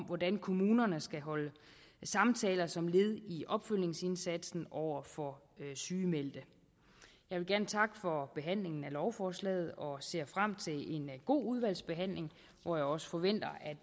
hvordan kommunerne skal holde samtaler som led i opfølgningsindsatsen over for sygemeldte jeg vil gerne takke for behandlingen af lovforslaget og ser frem til en god udvalgsbehandling hvor jeg også forventer